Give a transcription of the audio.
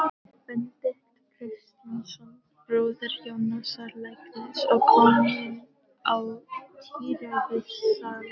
Benedikt Kristjánsson, bróðir Jónasar læknis og kominn á tíræðisaldur.